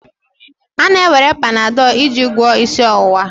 A na-ewere Panadol iji gwọọ isi ọwụwa.